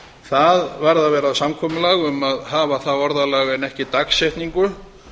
það varð að vera samkomulag um að hafa það orðalag en ekki dagsetningu